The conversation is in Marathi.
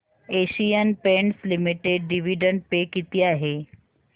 Asian Paints limited dividend pay किती आहे